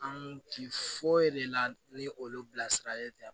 An ti foyi de la ni olu bilasiralen tɛ